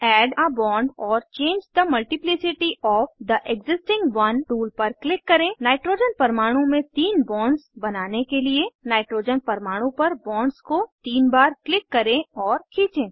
add a bond or change the multiplicity of the existing one tool पर click करें nitrogen परमाणु में तीन बॉन्ड्स बनाने के लिए नाइट्रोजन परमाणु पर बॉन्ड्स को तीन बार क्लिक करें और खींचें